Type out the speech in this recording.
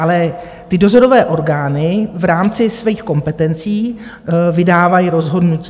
Ale ty dozorové orgány v rámci svých kompetencí vydávají rozhodnutí.